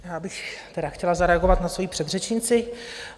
Já bych tedy chtěla zareagovat na svojí předřečnici.